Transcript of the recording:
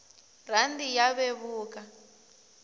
rhandi ya vevuka